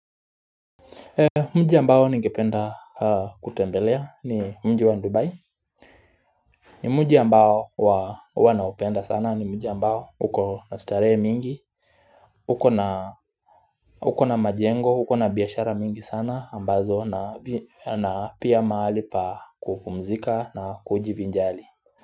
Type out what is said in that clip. Mji ambao nigependa kutembelea ni mji wa dubai ni mji ambao wanaopenda sana ni mji ambao huko na starehe mingi uko na uko na majengo uko na biashara mingi sana ambazo na pia mahali pa kupumzika na kujivinjari.